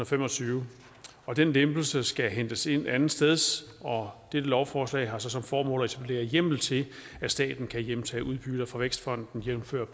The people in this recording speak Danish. fem og tyve og den lempelse skal hentes ind andetsteds og dette lovforslag har så som formål at etablere hjemmel til at staten kan hjemtage udbytter fra vækstfonden jævnfør